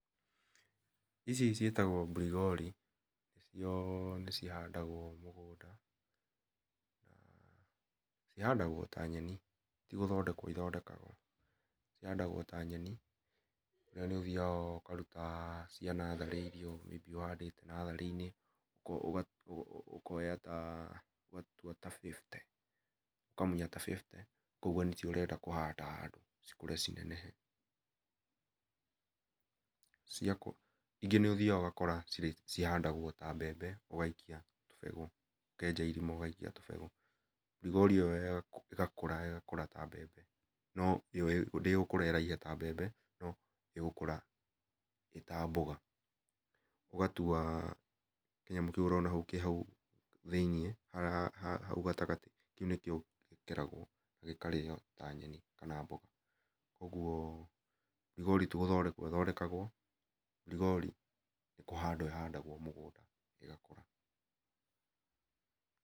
Ici ciĩtagwo mbirigori icio nĩ cihandagwo mũgũnda, cĩhandagwo ta nyeni tĩ gũthondekwo ĩthondekagwo ihandagwo ta nyeni iria nĩ ũthiaga ũga ũkarũta cia natharĩ irĩa ũhandite natharĩ inĩ ũka ũga ũkoya ta bĩbũte ũkamũnya ta bĩbũte ũkaĩga nĩ cio ũrenda kũhanda handũ cikũre ci nenehe, ingĩ nĩ ũthiaga ũgakora cihandagwo ta mbembe ũgaikia tũbegũ ũkenja irima ũgaikia tũbegũ, mbirigori ĩyo ĩgakũra ĩgakũra ta mbembe no ĩyo ndĩgũkũra ĩraihe ta mbembe ĩgũkũra ĩ ta mboga ũgatũa kĩ nyamũ kĩũ ũrona kĩhaũ thĩinĩ haũ gatagatĩ ,kĩũ nĩ kĩo gĩkeragwio gĩkarĩo ta nyenĩ kana mboga ũgũo mbirigori tũgũthondekwo ĩthondekagwo mbirigori nĩ kũhandwo ĩhandagwo mũgũnda ĩgakũra .